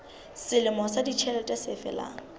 selemo sa ditjhelete se felang